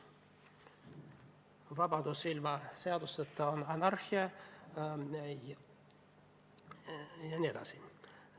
Vabadus ilma seadusteta on anarhia jne.